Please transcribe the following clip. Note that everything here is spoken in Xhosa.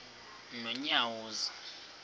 nonyawoza